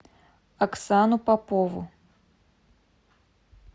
оксану попову